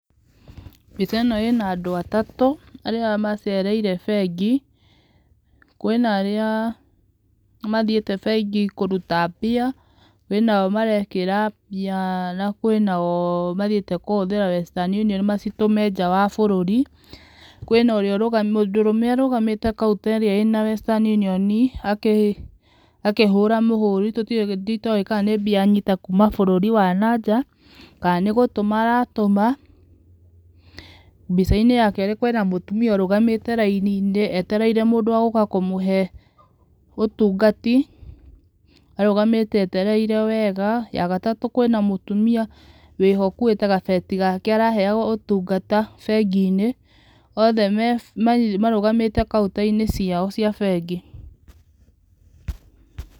Mbica ĩno ĩna andũ atatũ arĩa macereire bengi, kwĩna arĩa mathiĩte bengi kũruta mbia, kwĩna o marekĩra mbia na kwĩna o mathiĩte kũhũthĩra western union macitũme njaa wa bũrũri kwĩna ũrĩa mũndũrũme ũrũgamĩte counter ĩrĩa ĩna western union akĩhũra mũhũri tũtoĩ itoe kana nĩ mbia anyita kuuma bũrũri wa na nja kana nĩ gũtuma aratũma, mbicainĩ yake kwĩna mũtumia ũrugamĩte raini-Inĩ etereire mũndũ wa gũka kũmũhe ũtugati, arũgamĩte etereire wega ya gatatũ kwĩna mũtumia wĩho akuĩtegabeti gake araheo ũtungata mbegi-inĩ othe marũgamĩte counter-inĩ ciao cia bengi.